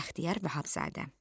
Bəxtiyar Vahabzadə.